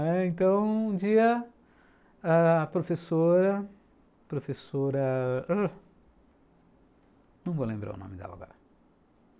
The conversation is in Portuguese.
Então, um dia ãh, a professora... professora... não vou lembrar o nome dela agora.